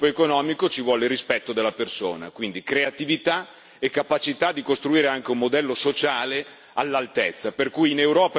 Quindi, creatività e capacità di costruire anche un modello sociale all'altezza, per cui in Europa è bello intraprendere ed è bello lavorare.